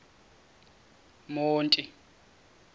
monti